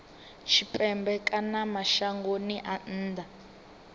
tshipembe kana mashangoni a nnḓa